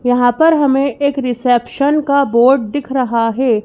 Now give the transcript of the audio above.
यहां पर हमें एक रिसेप्शन का बोर्ड दिख रहा हे ।